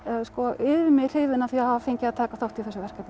yfir mig hrifin af því að hafa fengið að taka þátt í þessu verkefni